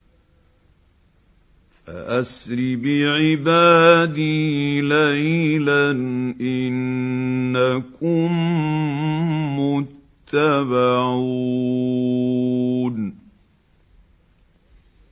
فَأَسْرِ بِعِبَادِي لَيْلًا إِنَّكُم مُّتَّبَعُونَ